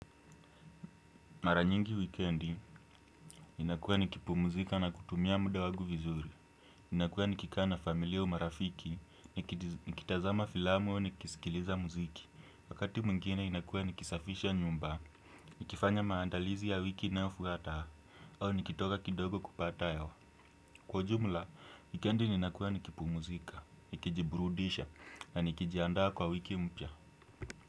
Mara nyingi wikiendi, ninakua nikipumzika na kutumia muda wangu vizuri. Ninakuwa nikikaa na familia au marafiki, nikitazama filamu au nikisikiliza muziki. Wakati mwingine inakuwa nikisafisha nyumba. Nikifanya maandalizi ya wiki inayofuata, au nikitoka kidogo kupata hewa. Kwa ujumla, wikiendi ninakua nikipumzika, nikijiburudisha na nikijandaa kwa wiki mpya.